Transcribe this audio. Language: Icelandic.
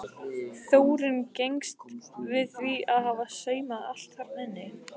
Þórunn gengst við því að hafa saumað allt þarna inni.